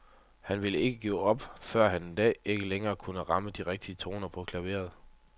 Han ville ikke give op, før han en dag ikke længere kunne ramme de rigtige toner på klaveret.